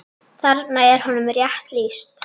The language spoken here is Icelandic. Þarna er honum rétt lýst.